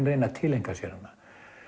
reyna að tileinka sér hana